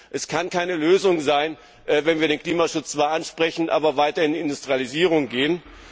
Es kann keine Lösung sein, dass wir den Klimaschutz zwar ansprechen, aber weiter in die Industrialisierung gehen!